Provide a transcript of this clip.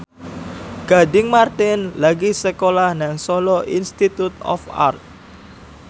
Gading Marten lagi sekolah nang Solo Institute of Art